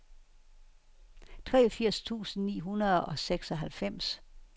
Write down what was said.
treogfirs tusind ni hundrede og seksoghalvfems